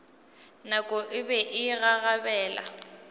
nako e be e gagabela